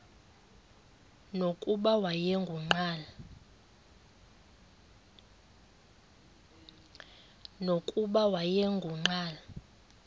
nokuba wayengu nqal